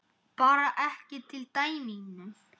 Bara ekki til í dæminu.